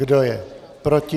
Kdo je proti?